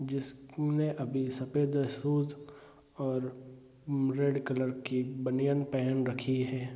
जिसने अभी सफ़ेद शूज और उम रेड कलर की बनियान पहन रखी है ।